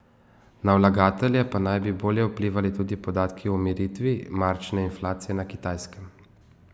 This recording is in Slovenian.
Na vlagatelje pa naj bi bolje vplivali tudi podatki o umiritvi marčne inflacije na Kitajskem.